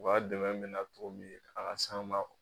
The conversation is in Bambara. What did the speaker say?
U ka dɛmɛ bɛ na cogo min a ka s'an ma